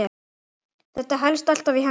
Þetta helst alltaf í hendur.